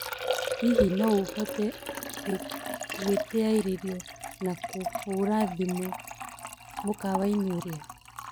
hĩhĩ no uhote gũĩtĩaĩrĩo na kuhura thĩmũ mũkawaĩni uria